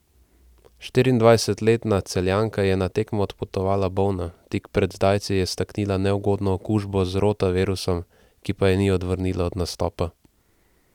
Štiriindvajsetletna Celjanka je na tekmo odpotovala bolna, tik pred zdajci je staknila neugodno okužbo z rotavirusom, ki pa je ni odvrnila od nastopa.